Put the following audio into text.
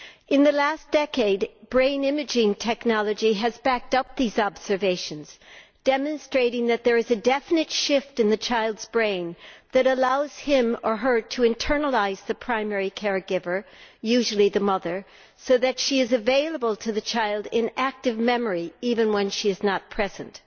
In the last decade, brain imaging technology has backed up those observations, demonstrating that there is a definite shift in the child's brain that allows him or her to internalise the primary care giver, usually the mother, so that she is available to the child in active memory even when she is not present.